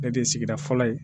Ne de ye sigida fɔlɔ ye